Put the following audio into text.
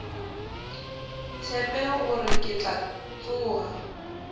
tshepe gore ke tla tsoga